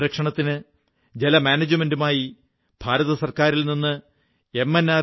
ജലസംരക്ഷണത്തിനു ജലമാനേജ്മെന്റിനുമായി കേന്ദ്ര ഗവൺമെന്റിൽനിന്ന് എം